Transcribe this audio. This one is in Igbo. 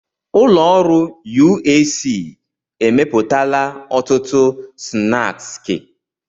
Ụlọ ọrụ UAC emepụtala ọtụtụ snaaskị.